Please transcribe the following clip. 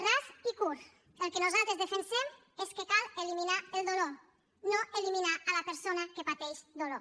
ras i curt el que nosaltres defensem és que cal eliminar el dolor no eliminar la persona que pateix dolor